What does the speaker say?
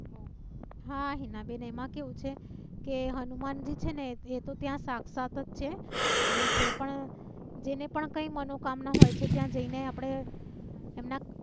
હા હિનાબેન એમાં કેવું છે કે હનુમાનજી છે ને એતો ત્યાં સાક્ષાત છે અને જે પણ જેને પણ કઈ મનોકામના હોય છે ત્યાં જઈ ને આપણે એમના